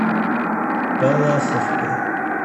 палласовкой